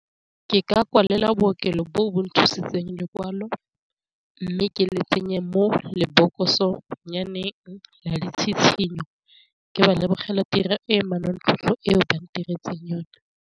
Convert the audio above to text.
Ke ka kwalela bookelo bo bo nthusitse lekwalo mme ke le tsenye mo lebokosong bonnyaneng la ditshitshinyo, ke ba lebogela tiro e manontlhotlho e o ba ntiretse yone.